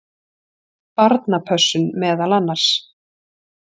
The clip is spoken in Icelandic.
Barnapössun meðal annars.